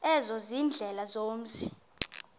ezo ziindlela zomzi